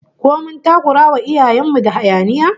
Ko mun takurawa iyayen mu da hayaniya?